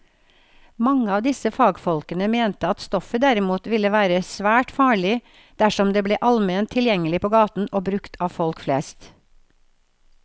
Mange av disse fagfolkene mente at stoffet derimot ville være svært farlig dersom det ble allment tilgjengelig på gaten og brukt av folk flest.